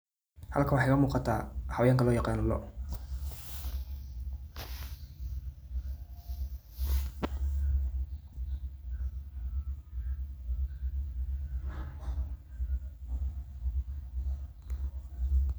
Halkan waxa iga muqatah xawayanga lovyaqano looh .